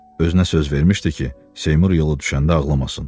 Özünə söz vermişdi ki, Seymur yolu düşəndə ağlamasın.